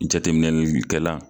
Jateminɛli kɛlan.